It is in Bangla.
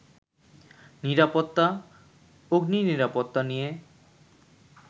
নিরাপত্তা, অগ্নিনিরাপত্তা নিয়ে